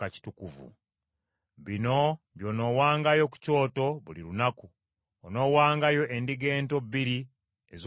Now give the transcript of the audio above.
“Bino by’onoowangayo ku kyoto buli lunaku: onoowangayo endiga ento bbiri ez’omwaka ogumu.